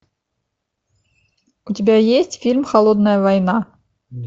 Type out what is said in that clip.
у тебя есть фильм холодная война